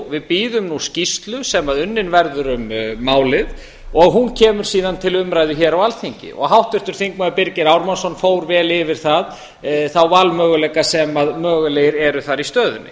við bíðum nú skýrslum sem unnin verður um málið og hún kemur síðan til umræðu hér á alþingi og háttvirtur þingmaður birgir ármannsson fór vel yfir þá valmöguleika sem mögulegt eru þar í stöðunni